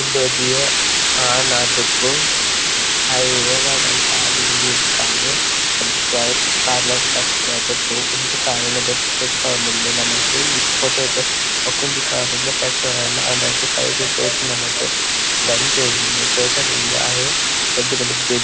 ಇಂದೊಂಜಿ ಆಣ್ ಆದುಪ್ಪು ಆಯೆ ಓಲಾಂಡಲ ತಾಗ್ ದ್ ಬೂರ್ದು ಕಾರ್ ರಡ್ಡ್ ಕಾರ್ ಕಾರ್ ಲ ಫ್ರಾಕ್ಚರ್ ಆದುಪ್ಪು ಒಂಜಿ ಕಾರ್ ನ್ ದೆರ್ತ್ ತೋಜಿಪಾವೊಂದುಲ್ಲೆ ನಮಕ್ ಫೋಟೊ ಟ್ ಬೊಕೊಂಜಿ ಕಾರ್ ಗ್ಲಾ ಫ್ರಾಕ್ಚರ್ ಆಯಿನ ಆಂಡ ಐಟೆ ಸೈಡ್ ಡ್ ತೋಜುಂಡು ನಮಕ್ ಉಂಡು ಕಾಟನ್ ಉಂಡು ಅಯೆ ಬೆಡ್ ದ ಮಿತ್ತ್ ಜೈದೆ